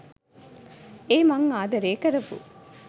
ඒ මං ආදරේ කරපු